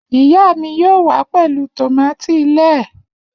Iya mi yoo wa pẹlu tomati lẹẹ.